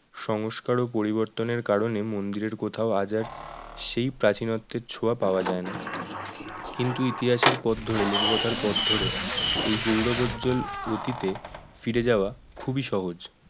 সংস্কার ও পরিবর্তনের কারণে মন্দিরের কোথাও আজ আর সেই প্রাচীনত্ব ছোঁয়া পাওয়া যায় না কিন্তু ইতিহাসের পথ ধরে লোককথার পথ ধরে এই গৌরবোজ্জ্বল অতীতে ফিরে যাওয়া খুবই সহজ